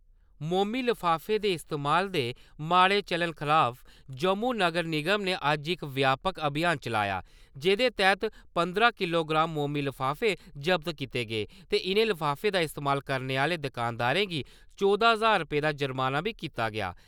मोमी लफाफें दे इस्तेमाल दे माह्ड़े चलन खलाफ जम्मू नगर निगम ने अज्ज इक व्यापक अभियान चलाया जेह्दे तैह्त पंदरां किलोग्राम मोमी लफाफे जब्त कीते गे ते इनें लफाफे दा इस्तेमाल करने आह्‌ले दकानदारें गी चौदां ज्हार रपेऽ दा जुर्माना बी कीता गेआ।